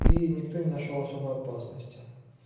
и никто не нашёл особой опасности